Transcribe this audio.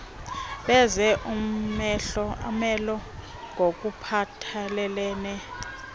benze umelo ngokuphathelelene